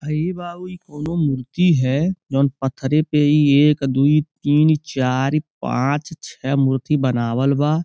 हइ बाबू इ कउनो मूर्ति हय। जोवन पत्थरे पे इ एक दो तीन चार पांच छह मूर्ति बनावल बा।